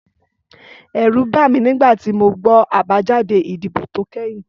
Ẹ̀rù bà mí nígbà tí mo gbọ́ àbájáde ìdìbò tó kẹ́yìn